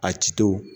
A ciw